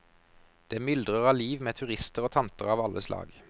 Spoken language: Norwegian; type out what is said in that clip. Det myldrer av liv med turister og tanter av alle slag.